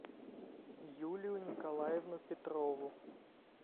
юлию николаевну петрову